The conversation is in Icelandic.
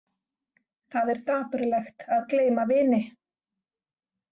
Það er dapurlegt að gleyma vini!